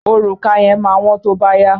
Òrùka yẹn máa wọ́n tó bá yá.